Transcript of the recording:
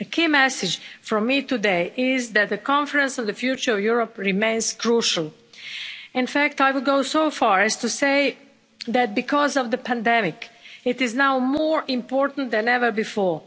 A key message from me today is that the Conference on the Future of Europe remains crucial. In fact, I would go so far as to say that because of the pandemic, it is now more important than ever before.